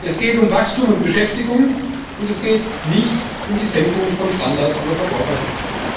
Es geht um Wachstum und Beschäftigung, und es geht nicht um die Senkung von Standards oder Verbraucherschutz.